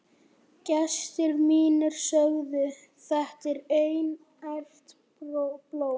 Gestir mínir sögðu: Þetta er einært blóm.